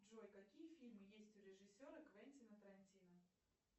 джой какие фильмы есть у режиссера квентина тарантино